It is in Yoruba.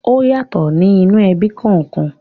Ọ́ yàtọ̀ ní inú ẹbí kọ̀ọ̀kan.